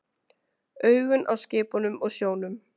Augun á skipunum og sjónum.